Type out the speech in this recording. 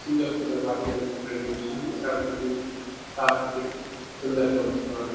सुंदर सुंदर वादीयाँ होणी दिखण लगीं छन उत्तराखंड की प्राकृतिक सुंदरता वणी च उत्तराखंड मां --